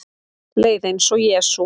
Leið eins og Jesú